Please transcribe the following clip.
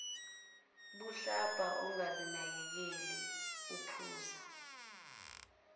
budlabha ongazinakekeli uphuza